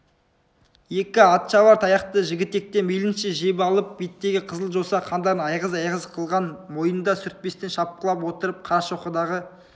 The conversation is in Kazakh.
екі атшабар таяқты жігітектен мейлінше жеп алып беттегі қызыл жоса қандарын айғыз-айғыз қылған бойында сүртпестен шапқылап отырып қарашоқыдағы